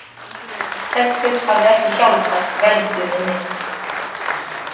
Kexið hafði ekki hjálpað velgjunni neitt.